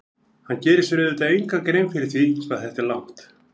Hann gerir sér auðvitað enga grein fyrir því hvað þetta er langt.